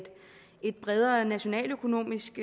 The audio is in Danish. bredere nationaløkonomisk